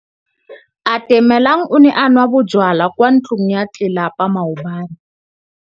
Atamelang o ne a nwa bojwala kwa ntlong ya tlelapa maobane.